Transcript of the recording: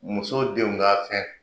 Muso denw ka fɛn